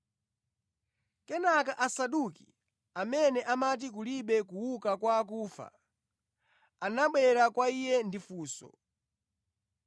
Kenaka Asaduki, amene amati kulibe kuuka kwa akufa, anabwera kwa Iye ndi funso.